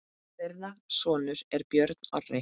Þeirra sonur er Björn Orri.